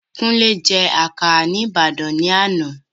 Kúnlé je àkàrà ni Ibadan ni ana